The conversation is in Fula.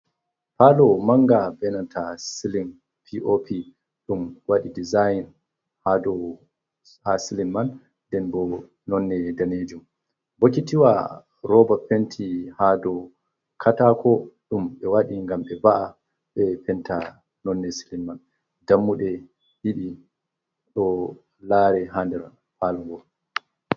Palow manga be nanta silin pop ɗum waɗi dezign ha silin man den bo nonde danejum, bokitiwa roba penti ha do katako ɗum ɓe waɗi ngam ɓe va'a ɓe penta nonde silin man dammuɗe ɗiɗi ɗo lare ha nder palowa.